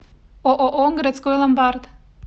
ооо городской ломбард